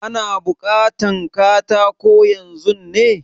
Ana bukatan katako yanzun ne?